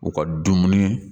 U ka dumuni